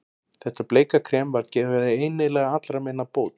Þetta bleika krem var greinilega allra meina bót.